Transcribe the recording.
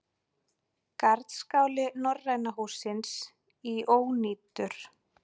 Garðskáli Norræna hússins í ónýtur